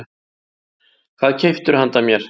Hvað keyptirðu handa mér?